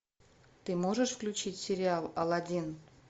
ты можешь включить сериал алладин